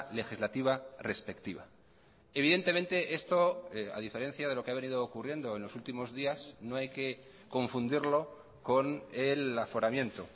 legislativa respectiva evidentemente esto a diferencia de lo que ha venido ocurriendo en los últimos días no hay que confundirlo con el aforamiento